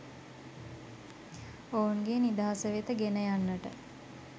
ඔවුන්ගේ නිදහස වෙත ගෙන යන්නට